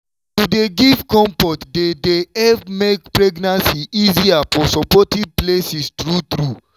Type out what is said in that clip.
to dey give comfort dey dey help make pregnancy easier for supportive places true true.